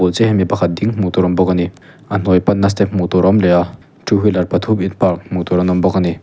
mi pakhat ding hmuh tur a awm bawk a ni a hnuai panna step hmuh tur a awm leh a two wheeler pathum in park hmuh tur an awm bawk a ni.